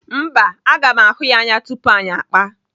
Mba, aga m ahụ ya anya tupu anyị akpa.